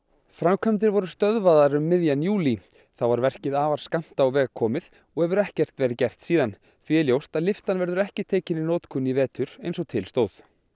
framkvæmdir voru stöðvaðar um miðjan júlí þá var verkið afar skammt á veg komið og hefur ekkert verið gert síðan því er ljóst að lyftan verður ekki tekin í notkun í vetur eins og til stóð